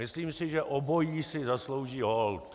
Myslím si, že obojí si zaslouží hold.